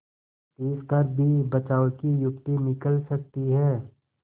तिस पर भी बचाव की युक्ति निकल सकती है